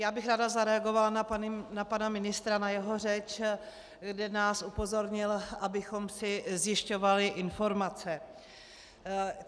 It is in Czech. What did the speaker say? Já bych ráda zareagovala na pana ministra, na jeho řeč, kde nás upozornil, abychom si zjišťovali informace.